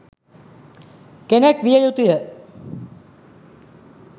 කෙනෙක් විය යුතුය